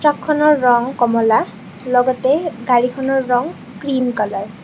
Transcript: ট্ৰাকখনৰ ৰং কমলা লগতে গাড়ীখনৰ ৰং ক্ৰীম কালাৰ ।